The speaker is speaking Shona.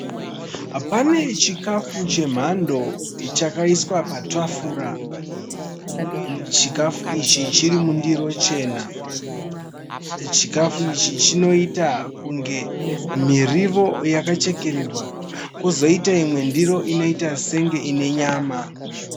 Pane chikafu chemhando chakaiswa patafura. Chikafu ichi chiri mundiro chena. Chikafu ichi chinoita kunge mirivo yakachekererwa kozoita imwe ndiro inoita senge ine nyama.